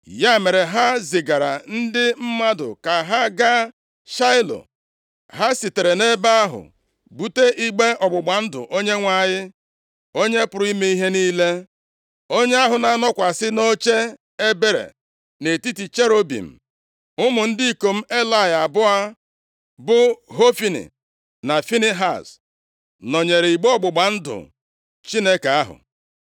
Ya mere, ha zigara ndị mmadụ ka ha gaa Shaịlo. Ha sitere nʼebe ahụ bute igbe ọgbụgba ndụ Onyenwe anyị, Onye pụrụ ime ihe niile, onye ahụ na-anọkwasị nʼoche ebere nʼetiti cherubim. Ụmụ ndị ikom Elayị abụọ, bụ Hofni na Finehaz, nọnyeere igbe ọgbụgba ndụ Chineke ahụ.